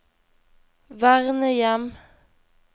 vernehjem